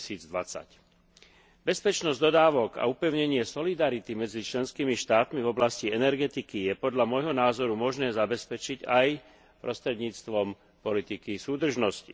2020. Bezpečnosť dodávok a upevnenie solidarity medzi členskými štátmi v oblasti energetiky je podľa môjho názoru možné zabezpečiť aj prostredníctvom politiky súdržnosti.